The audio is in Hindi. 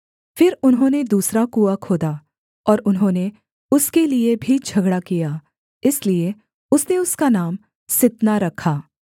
फिर उन्होंने दूसरा कुआँ खोदा और उन्होंने उसके लिये भी झगड़ा किया इसलिए उसने उसका नाम सित्ना रखा